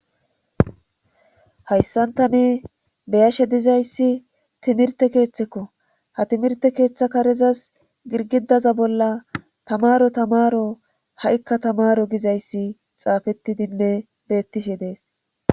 hayssanta ne beyashe dizayssi timirte keeththekko ha timirte keeththa karezas girgidaza bolla tamaro tamaro ha7ikka tamaro gizayssi xaafettidinne beettishe dees